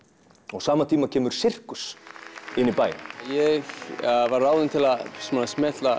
og á sama tíma kemur sirkus í bæinn ég var ráðinn til að smella